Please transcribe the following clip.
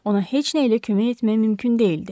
Ona heç nə ilə kömək etmək mümkün deyildi.